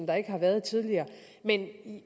der ikke har været tidligere men det